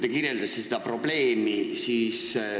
Te kirjeldasite seda probleemi.